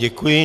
Děkuji.